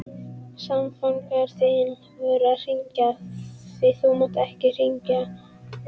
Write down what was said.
Samfangar þínir voru að hringja, því þú mátt ekki hringja.